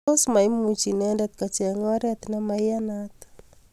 tos maimuch inendet kocheng oret nemaiyanat